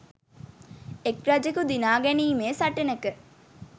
එක් රජෙකු දිනා ගැනීමේ සටනෙක